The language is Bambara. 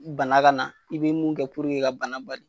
bana ka na , i be mun kɛ bana ka bali